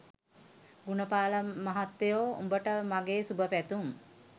ගුණපාල මහත්තයෝ උඹට මගේ සුභ පැතුම්!